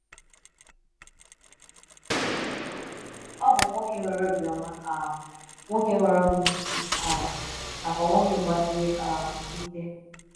O bụ nwoke nwere obiọma um, nwoke nwere ọgụgụ isi um nakwa nwoke gbasiri um ike.